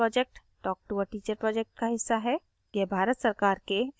spoken tutorial project talktoa teacher project का हिस्सा है